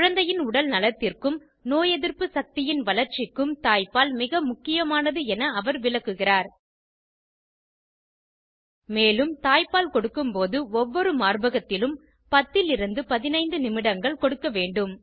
குழந்தையின் உடல் நலத்திற்கும் நோய் எதிர்ப்பு சக்தியின் வளர்ச்சிக்கும் தாய்ப்பால் மிக முக்கியமானது என அவர் விளக்குகிறார் மேலும் தாய்ப்பால் கொடுக்கும்போது ஒவ்வொரு மார்ப்பகத்திலும் 10 லிருந்து 15 நிமிடங்கள் கொடுக்க வேண்டும்